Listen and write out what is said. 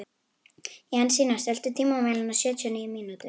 Jensína, stilltu tímamælinn á sjötíu og níu mínútur.